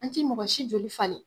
An tɛ mɔgɔ si joli falen